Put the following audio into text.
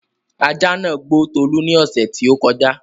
ajá nàá gbó Tolú ní ọ̀ṣẹ̀ tí ó kọjá